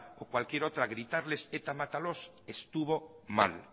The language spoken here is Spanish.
o cualquier otra gritarles eta mátalos estuvo mal